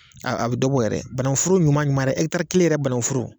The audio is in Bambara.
A a be dɔ bɔ yɛrɛ bananguforo ɲuman ɲuman yɛrɛ hɛkitari kelen yɛrɛ banaguforo